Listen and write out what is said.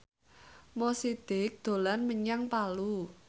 Mo Sidik dolan menyang Palu